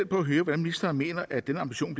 på at høre hvordan ministeren mener at den ambition